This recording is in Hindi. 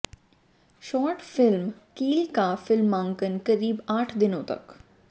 शॉर्ट फिल्म कील का फिल्मांकन करीब आठ दिनों तक